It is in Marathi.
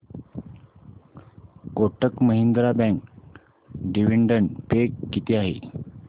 Kotak Mahindra bank dividend pay किती आहे